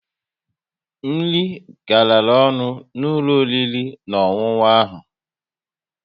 Nri garara ọnụ n'ụlọ oriri na ọṅụṅụ ahụ